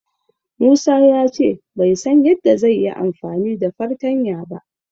Musa ya ce bai san yadda zai yi amfani da fartanya ba.